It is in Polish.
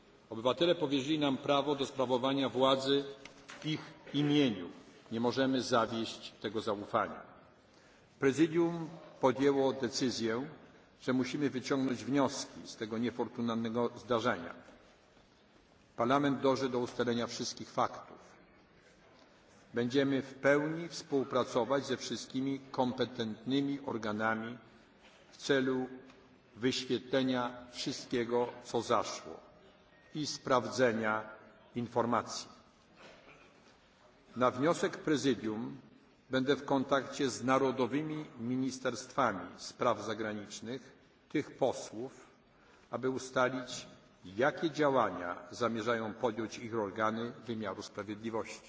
obywateli. Obywatele powierzyli nam prawo do sprawowania władzy w ich imieniu. Nie możemy zawieść tego zaufania. Prezydium podjęło decyzję, że musimy wyciągnąć wnioski z tego niefortunnego zdarzenia. Parlament dąży do ustalenia wszystkich faktów. Będziemy w pełni współpracować ze wszystkimi kompetentnymi organami w celu wyjaśnienia wszystkiego, co zaszło i sprawdzenia informacji. Na wniosek Prezydium będę w kontakcie z narodowymi ministerstwami spraw zagranicznych krajów tych posłów, aby ustalić, jakie działania zamierzają podjąć ich organy wymiaru sprawiedliwości.